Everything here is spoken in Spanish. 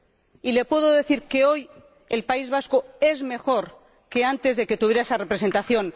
Y le puedo decir que hoy el País Vasco es mejor que antes de que tuviera esa representación.